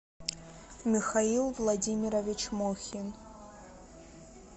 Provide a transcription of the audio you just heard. михаил владимирович мохин